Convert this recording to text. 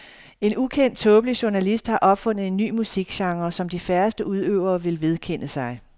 En ukendt, tåbelig journalist har opfundet en ny musikgenre, som de færreste udøvere vil vedkende sig.